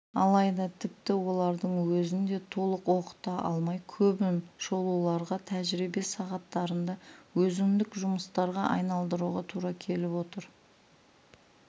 алайда тіпті олардың өзін де толық оқыта алмай көбін шолуларға тәжірибе сағаттарында өзіндік жұмыстарға айналдыруға тура келіп отыр